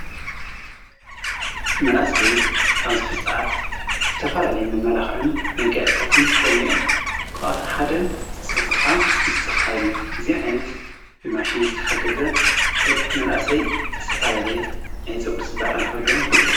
መናእሰይ ኣብዚ ሀዚ ሰዓት ዝተፋላለየ ምመላኽዕን መጋያእጻተይን ጥቆም እዮም ክኣቶም ሓደ ጸጕርኻ ምስተኻልዩ እዚዓይንት ብማሽን ዝተሓገዘ ደ መናእሰይ ዝተፈላድየ ናይ ጸጕር ጽባቐ ንኸልዎም ይሕግዝ።